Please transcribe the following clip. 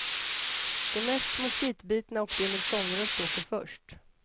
De mest moskitbitna och de med sångröst åker först.